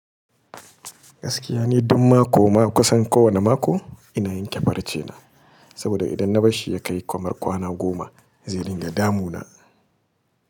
Gaskiya ne, dun mako ma kusan kowane mako ina yanke farcena, saboda idan na bar shi ya kai kwamar kwana goma zai dinga damuna.